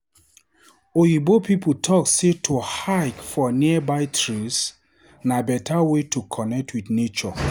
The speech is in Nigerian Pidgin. Oyibo pipo talk sey to hike for nearby trails na better way to connect with nature.